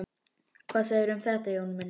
Hvað segirðu um þetta, Jón minn?